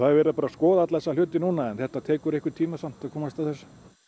verið að skoða alla þessa hluti núna en það tekur einhvern tíma að komast að þessu